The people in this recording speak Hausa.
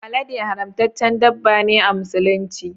Alade haramtaccen dabba ne a musulunci